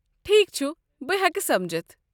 ٹھیٖک چھُ، بہٕ ہٮ۪کہٕ سمجھتھ ۔